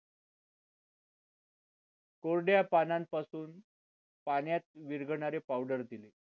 कोरडया पानांपासून पाण्यात विरघळणारी पावडर दिले